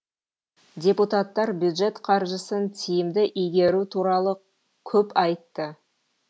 депутаттар бюджет қаржысын тиімді игеру туралы көп айтты